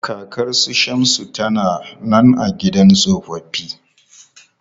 Kakan su Shamsu ta na nan a gidan tsofaffi.